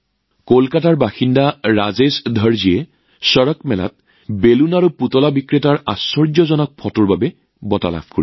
কলকাতাৰ বাসিন্দা ৰাজেশ দৰ্জীয়ে চড়কমেলাত বেলুন আৰু খেলনা বিক্ৰেতাৰ আচৰিত ফটোৰ বাবে এই বঁটা লাভ কৰে